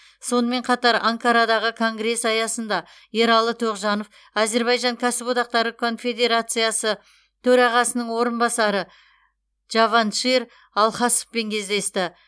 сонымен қатар анкарадағы конгресс аясында ералы тоғжанов әзірбайжан кәсіподақтары конфедерациясы төрағасының орынбасары джаваншир алхасовпен кездесті